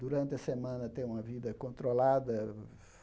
Durante a semana tenho uma vida controlada.